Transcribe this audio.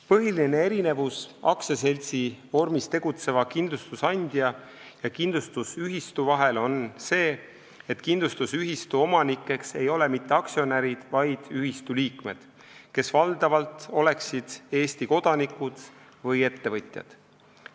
Põhiline erinevus aktsiaseltsi vormis tegutseva kindlustusandja ja kindlustusühistu vahel on see, et kindlustusühistu omanikeks ei ole mitte aktsionärid, vaid ühistu liikmed, kes valdavalt oleksid Eesti kodanikud või ettevõtjad.